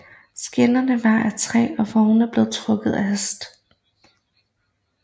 Skinnerne var af træ og vognene blev trukket af heste